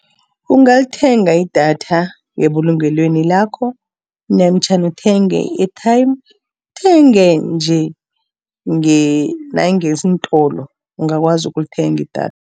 Ungalithenga idatha ngebulungelweni lakho, namtjhana uthenge i-airtime. Uthenge nje nangeentolo ungakwazi ukulithenga idatha.